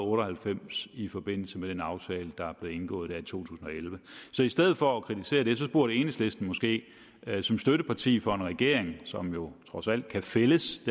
otte og halvfems i forbindelse med den aftale der blev indgået i to tusind og elleve så i stedet for at kritisere det burde enhedslisten måske andet som støtteparti for en regering som jo trods alt kan fældes